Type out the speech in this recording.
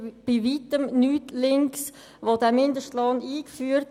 Es handelt sich also bei Weitem um nichts Linkes.